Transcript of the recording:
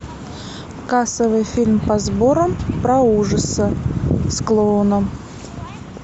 кассовый фильм по сборам про ужасы с клоуном